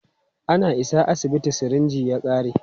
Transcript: Ana isa asibiti, sirinji ya ƙare.